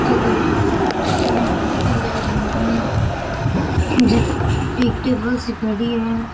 यो कोई इया होटल है ध्यान कोनी एक टेबल सी पड़ी है।